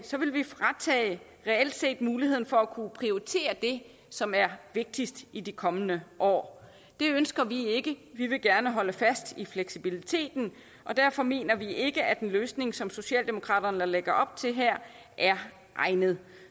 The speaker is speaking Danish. vil vi reelt set fratage muligheden for at kunne prioritere det som er vigtigst i de kommende år det ønsker vi ikke vi vil gerne holde fast i fleksibiliteten og derfor mener vi ikke at en løsning som socialdemokraterne lægger op til her er egnet